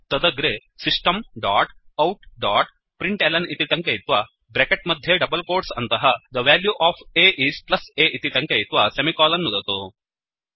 तदग्रे system dot out dot println इति टङ्कयित्वा ब्रेकेट् मध्ये डबल्कोट्स् अन्तः the value of a is plus a इति टङ्कयित्वा सेमिकोलन् नुदतु